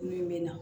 Min bɛ na